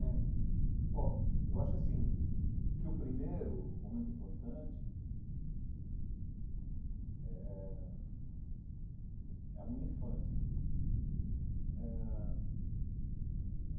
É. Bom, eu acho assim, que o primeiro momento importante é é a minha infância eh ãh.